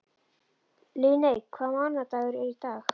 Líneik, hvaða mánaðardagur er í dag?